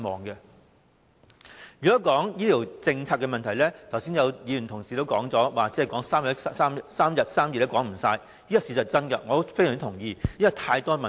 如果要討論醫療政策的問題，正如剛才有同事所說，討論3天3夜也說不完，這是事實，我非常同意，因為實在有太多問題。